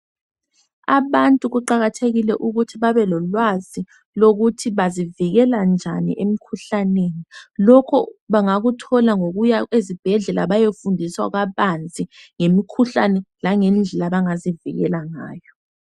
Abantu kuqakathekile ukuthi babe lolwazi lokuthi bazivikele njani emikhuhlaneni lokho bangakuthola ngokuya ezibhedlela bayefundiswa kabanzi ngemikhuhlane langendlela abangazivikela ngayo.